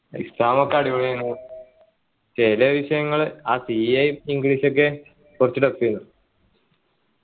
exam പോക്കേ അടിപൊളി ആയിനു ചില വിഷയങ്ങള് ആ CAenglish ഒക്കെ കുറച്ചു tough ഏന്നു